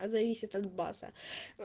зависит от баса